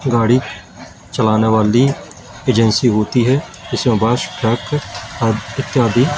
गाड़ी चलाने वाली एजेंसी होती है इसमें बस ट्रक इत्यादि।